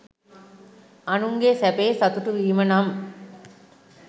අනුන්ගේ සැපයෙහි සතුටු වීම නම්